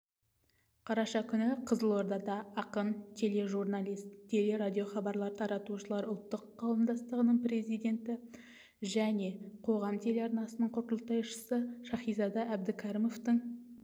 қараша күні қызылордада ақын тележурналист телерадиохабарлар таратушылар ұлттық қауымдастығының президенті және қоғам телеарнасының құрылтайшысы шаһизада әбдікәрімовтың